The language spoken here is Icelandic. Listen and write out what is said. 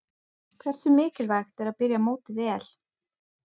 Hversu mikilvægt er að byrja mótið vel?